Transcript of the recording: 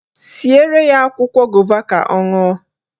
Siere ya akwụkwọ gova ka ọ ṅụọ